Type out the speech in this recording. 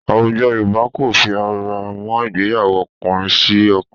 Àwùjọ Yorùbá kò fi ara mọ́ ìgbéyàwó ọkùnrin sí ọkùnrin